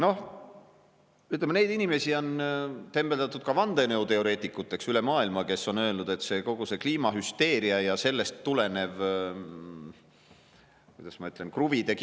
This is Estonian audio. Noh, ütleme, neid inimesi, kes on öelnud, et kogu see kliimahüsteeria ja sellest tulenev – kuidas ma ütlen?